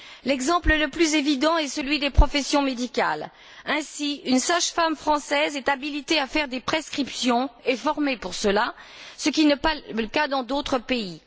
L'exemple le plus évident est celui des professions médicales. Ainsi, une sage femme française est habilitée à faire des prescriptions et est formée pour cela, ce qui n'est pas le cas dans d'autres pays.